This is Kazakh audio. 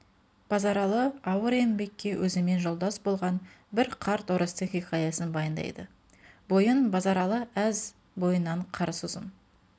базаралы ауыр еңбекке өзімен жолдас болған бір қарт орыстың хикаясын баяндайды бойын базаралы әз бойынан қарыс ұзын